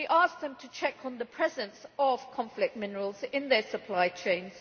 them to check on the presence of conflict minerals in their supply chains.